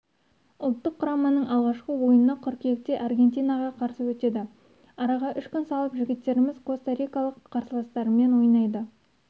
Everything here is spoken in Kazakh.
ұлттық құрамының алғашқы ойыны қыркүйекте аргентинаға қарсы өтеді араға үш күн салып жігіттеріміз коста-рикалық қарсыластарымен ойнайды